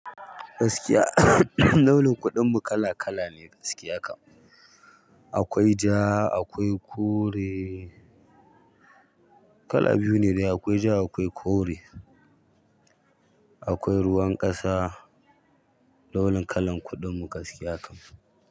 Gaskiya launin kuɗin mu kala kala ne gaskiya kam. Akwai ja, akwai kore. Kala biyu ne dai. Akwai ja akwai kore, akwai ruwan ƙasa, launin kalan kuɗin mu gaskiya.